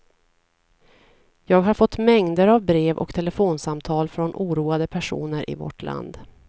Jag har fått mängder av brev och telefonsamtal från oroade personer i vårt land.